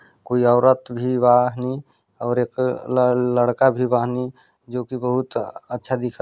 कोई औरत भी वाहनी और एक ल -- लड़का भी वाहनी जो की बहुत अच्छा दिखत --